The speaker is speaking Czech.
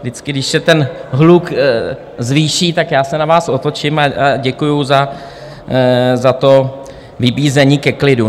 Vždycky když se ten hluk zvýší, tak já se na vás otočím a děkuju za to vybízení ke klidu.